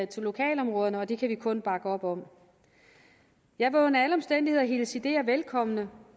til lokalområderne og det kan vi kun bakke op om jeg vil under alle omstændigheder hilse ideer velkommen